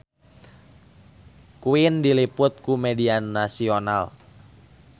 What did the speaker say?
Queen diliput ku media nasional